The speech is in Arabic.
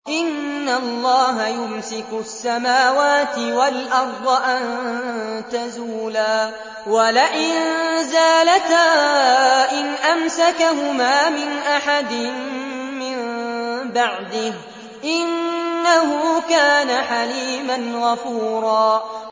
۞ إِنَّ اللَّهَ يُمْسِكُ السَّمَاوَاتِ وَالْأَرْضَ أَن تَزُولَا ۚ وَلَئِن زَالَتَا إِنْ أَمْسَكَهُمَا مِنْ أَحَدٍ مِّن بَعْدِهِ ۚ إِنَّهُ كَانَ حَلِيمًا غَفُورًا